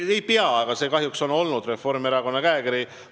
See ei pea nii olema, kuid kahjuks on Reformierakonna käekiri selline olnud.